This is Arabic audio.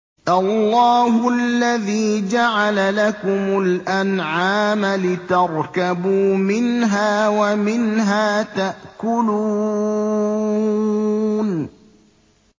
اللَّهُ الَّذِي جَعَلَ لَكُمُ الْأَنْعَامَ لِتَرْكَبُوا مِنْهَا وَمِنْهَا تَأْكُلُونَ